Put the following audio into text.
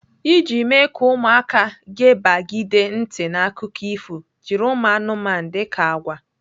Iji mee ka ụmụaka gepagide ntị n'akụkọ ifo, jiri ụmụanụmanụ dika agwa.